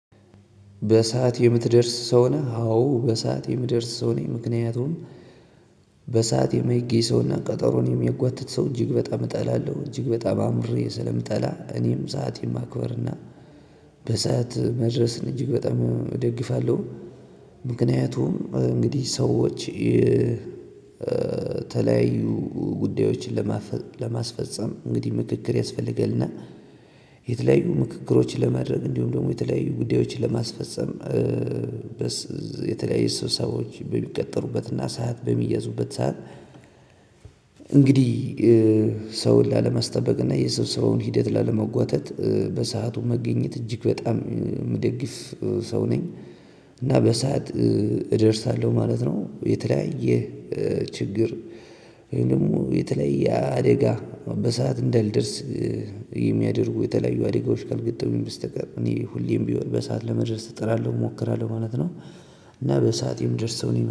በሰአት የምትደርስ ሰው ነህ? አዎ በሰአት የምደርስ ሰው ነህ ምክንያቱም በሰአት የማይገኝ ሰው እና ቀጠሮን የሚያጓትት ሰው እጅግ በጣም እጠላለሁ። እጅግ በጣም አምርሬ ስለምጠላ እኔም ሰዓት ማክበር እና በሰአት መድረስን እጅግ በጣም እደግፋለሁ። ምክንያቱም እንግዲህ ሰዎች የተለያዩ ጉዳዮችን ለማስፈፀም እንግዲህ ምክክር ያስፈልጋልና። የተለያዩ ምክክሮችን ለማድረግ እንዲሁም ደግሞ የተለያዩ ጉዳዮችን ለማስፈፀም የተለያየ ስብሰባዎች በሚቀጠሩበትና ሰዓት በሚያዙበት ሰዓት። እንግዲህ ሰውን ላለመስጠበቅ እና የሰብሰበውን ሂደት ላለመጓተት በሰአቱ መገኘት እጅግ በጣም የምደግፍ ሰው ነኝ። እና በሰአት እደርሳለሁ ማለት ነው። የተለያየ ችግር ወይም ደግሞ የተለያየ አደጋ በሰአት እንዳይደርስ የሚያደርጉ የተለያዩ አደጋዎች ካልገጠመኝ በስተቀር እኔ ሁሌም ቢሆን በሰአት ለመድረስ እጥራለሁ እሞክራለሁ ማለት ነው። እና በስአት የምደርስ ሰው ነኝ